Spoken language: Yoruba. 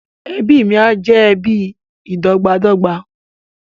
Ẹbí mí á jẹ ẹbí ìdọ́gbańdọ́gba